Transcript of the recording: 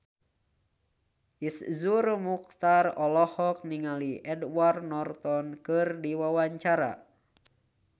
Iszur Muchtar olohok ningali Edward Norton keur diwawancara